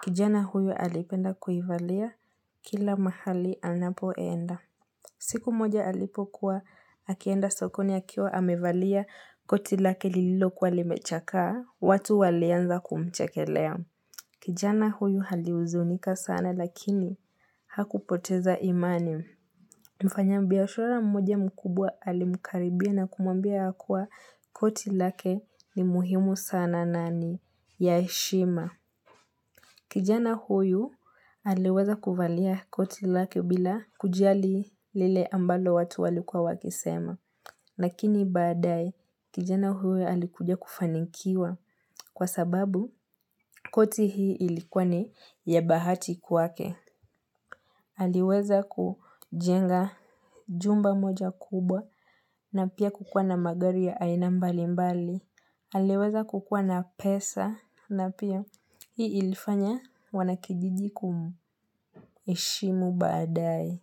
kijana huyu alipenda kuivalia kila mahali anapoenda. Siku moja alipokuwa, akienda sokoni akiwa amevalia koti lake lililokuwa limechaka, watu walianza kumchakelea. Kijana huyu alihuzunika sana lakini hakupoteza imani. Mfanyabiashara mmoja mkubwa alimkaribia na kumwambia ya kuwa koti lake ni muhimu sana nani ya heshima. Kijana huyu aliweza kuvalia koti lake bila kujiali lile ambalo watu walikuwa wakisema. Lakini badae kijana huyu alikuja kufanikiwa kwa sababu koti hii ilikuwa ni ya bahati kwake. Aliweza kujenga jumba moja kubwa na pia kukuwa na magari ya aina mbali mbali. Aliweza kukuwa na pesa na pia hii ilifanya wanakijiji kumheshimu baadae.